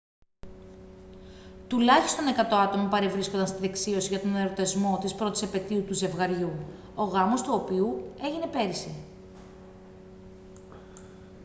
τουλάχιστον 100 άτομα παρευρίσκονταν στη δεξίωση για τον εορτασμό της πρώτης επετείου του ζευγαριού ο γάμος του οποίου έγινε πέρυσι